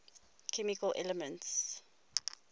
chemical elements